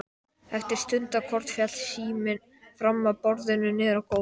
Eftir stundarkorn féll síminn fram af borðbrúninni niður á gólf.